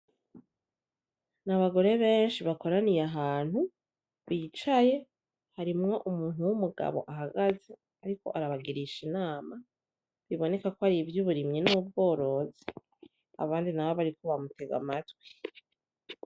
Nabagore benshi bakoraniye ahantu bicaye, harimwo umuntu wumugabo ahagaze ariko arabagirisha inama biboneka kwari ivyuburimyi nubworozi abandi nabo bariko bamutega amatwi.